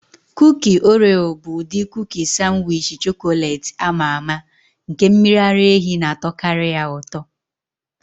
Kuki Oreo bụ ụdị kuki sanwichi chọkọletị ama ama, nke mmiri ara ehi na-atọkarị ya ụtọ.